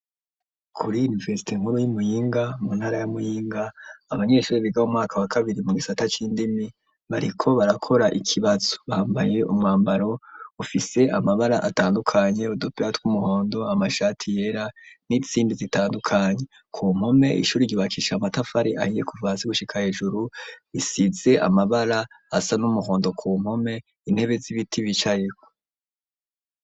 Kuri iniverisite nkuru yo Muyinga ,mu ntara ya Muyinga abanyeshure biga mumwaka wakabiri mugisata cindimi bariko barakora ikibazo bambaye umwambaro ufise amabara atandukanye udupira twumuhondo amashati yera nizindi zitandukanye kumpome zubakishije amatafari ahiye kuva hasi gushika hejuru risize amabara asa numuhondo kumpome intebe zibiti bicayeko.